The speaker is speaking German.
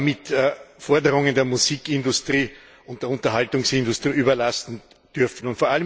mit Forderungen der Musikindustrie und der Unterhaltungsindustrie überlasten dürfen.